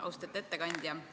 Austatud ettekandja!